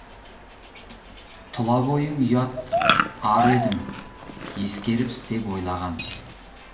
тұла бойың ұят ар едің ескеріп істеп ойлаған